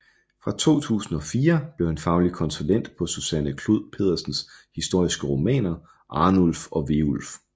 Fra 2004 blev han faglig konsulent på Susanne Clod Pedersens historiske romaner Arnulf og Veulf